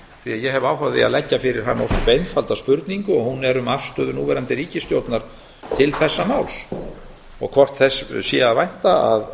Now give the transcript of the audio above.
að ég hef áhuga á því að leggja fyrir hann ósköp einfalda spurningu hún er um afstöðu núverandi ríkisstjórnar til þessa máls og hvort þess sé að vænta að